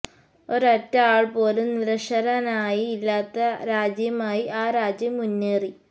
ഒരൊറ്റ ആള് പോലും നിരക്ഷരനായി ഇല്ലാത്ത രാജ്യമായി ആ രാജ്യം മുന്നേറി